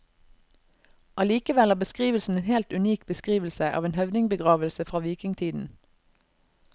Allikevel er beskrivelsen en helt unik beskrivelse av en høvdingbegravelse fra vikingtiden.